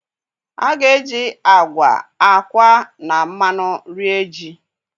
a ga-eji agwa, akwa na mmanụ rie ji.